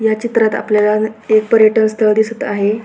या चित्रात आपल्याला एक पर्यटन स्थळ दिसत आहे.